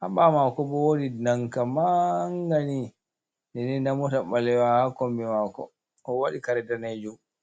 habawo mako bo wodi danka mangani den den nda mota ɓalewa ha kombi mako o waɗi kare danejum.